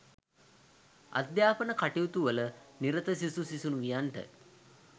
අධ්‍යාපන කටයුතුවල නිරත සිසු සිසුවියන්ට